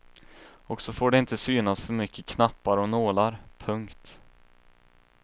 Och så får det inte synas för mycket knappar och nålar. punkt